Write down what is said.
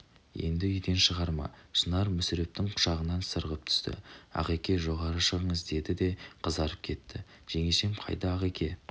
енді үйден шығарма шынар мүсірептің құшағынан сырғып түсті ағеке жоғары шығыңыз деді де қызарып кетті жеңешем қайда ағеке